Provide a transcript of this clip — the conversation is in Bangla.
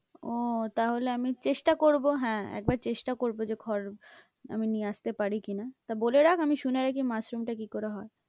ও তাহলে আমি চেষ্টা করবো, হ্যাঁ একবার চেষ্টা করবো যে খড় আমি নিয়ে আসতে পারি কি না, তা বলে রাখ আমি শুনে রাখি মাশরুমটা কি করে হয়?